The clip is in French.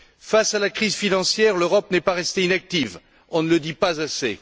Face à la crise financière, l'Europe n'est pas restée inactive. On ne le dit pas assez.